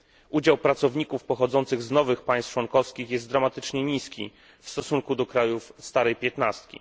Udział pracowników pochodzących z nowych państw członkowskich jest dramatycznie niski w stosunku do krajów starej piętnastki.